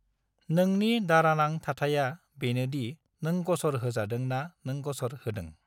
नोंनि दारानां थाथाइया बेनो दि नों गसर होजादों ना नों गसर होदों।